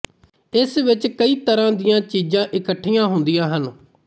ਇਸ ਵਿੱਚ ਕਈ ਤਰ੍ਹਾਂ ਦੀਆਂ ਚੀਜ਼ਾਂ ਇਕੱਠੀਆਂ ਹੁੰਦੀਆਂ ਹਨ